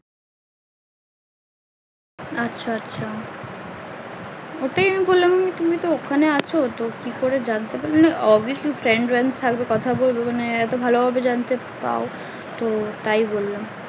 আচ্ছা আচ্ছা ওটাই আমি ভাবলাম তুমি তো ওখানে আছো তো কি করে জানতে পারলে abusaly friend ব্রেন্ট থাকবে কথা বলো এত ভালো ভাবে জানতে পাও তাই বললাম